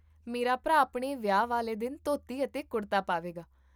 ਮੇਰਾ ਭਰਾ ਆਪਣੇ ਵਿਆਹ ਵਾਲੇ ਦਿਨ ਧੋਤੀ ਅਤੇ ਕੁੜਤਾ ਪਾਵੇਗਾ